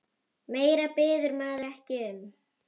Meira biður maður ekki um.